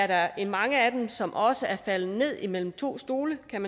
der er mange af dem som også er faldet ned mellem to stole man